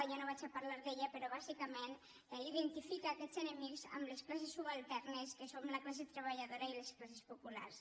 ja no parlaré d’ella però bàsicament identifica aquests enemics amb les classes subalternes que som la classe treballadora i les classes populars